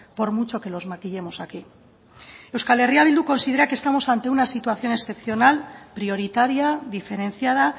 por mucho que los maquillemos aquí eh bildu considera que estamos ante una situación excepcional prioritaria diferenciada